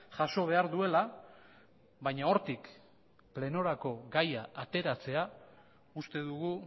jaso behar duela baina hortik plenorako gaia ateratzea uste dugu